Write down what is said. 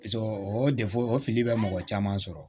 Paseke o de fɔ o fili bɛ mɔgɔ caman sɔrɔ